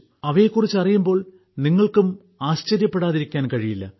അവയെക്കുറിച്ച് അറിയുമ്പോൾ നിങ്ങൾക്കും ആശ്ചര്യപ്പെടാതിരിക്കാൻ കഴിയില്ല